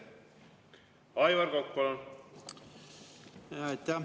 Aivar Kokk, palun!